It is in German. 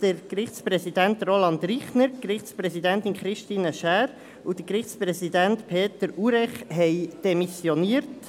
Der Gerichtspräsident Roland Richner, die Gerichtspräsidentin Christine Schär und der Gerichtspräsident Peter Urech haben demissioniert.